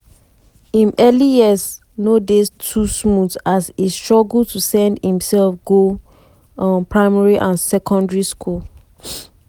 im early years no dey too smooth as e struggle to send imsef go um primary and secondary school.